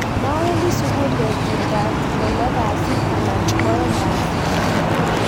mawendi sukul betutab ko lo kasi ana ko oeng kasi